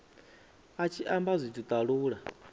a tshi amba zwithu talula